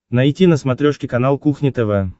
найти на смотрешке канал кухня тв